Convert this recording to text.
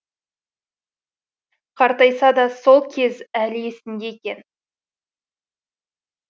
қартайса да сол кез әлі есінде екен